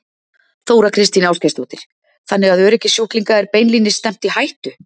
Þóra Kristín Ásgeirsdóttir: Þannig að öryggi sjúklinga er beinlínis stefnt í hættu?